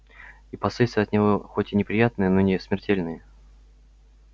и последствия от него хоть и неприятные но не смертельные